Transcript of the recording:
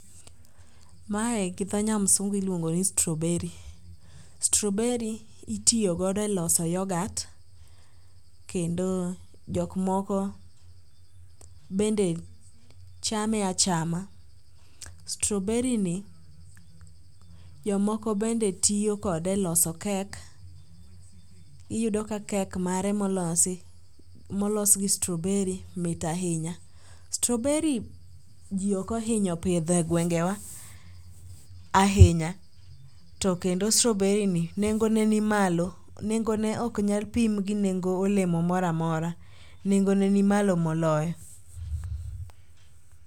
Mae gi dho nyamsungu iluongo ni strawberry. Strawberry itiyogodo e loso yogat kendo jokmoko bende chame achama. Strawberry ni jomoko bende tiyo kode e loso kek iyudo ka kek mare molos gi strawberry mit ahinya. Strawberry ji okohinyo pidho e gwengewa ahinya to kendo strawberry ni nengone ni malo, nengone oknyal pim gi nengo olemo moro amora, nengone ni malo moloyo.